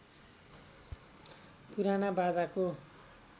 पुराना बाजाको